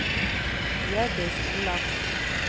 Hjørdis Olafsen